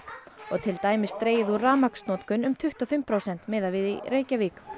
og til dæmis dregið úr rafmagnsnotkun um tuttugu og fimm prósent miðað við í Reykjavík